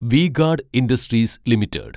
V-Guard Industries limited